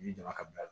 I jama ka bila